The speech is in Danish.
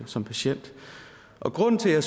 som patient grunden til at